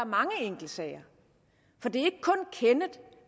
mange enkeltsager for det